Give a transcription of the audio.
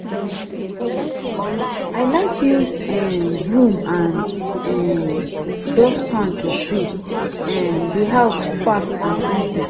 I like use um broom and um dustpan to sweep um di house fast and easy.